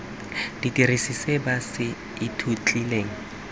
dirisa se ba se ithutileng